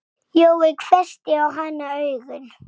Jói hvessti á hana augun.